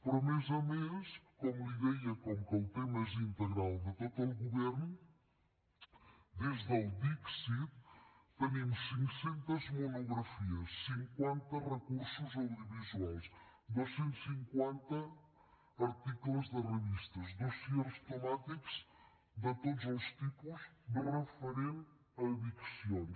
però a més a més com li deia com que el tema és integral de tot el govern des del dixit tenim cinc cents monografies cinquanta recursos audiovisuals dos cents i cinquanta articles de revistes dossiers temàtics de tots els tipus referents a addiccions